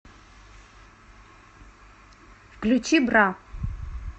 включи бра